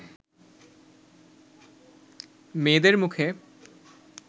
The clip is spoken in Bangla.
মেয়েদের মুখে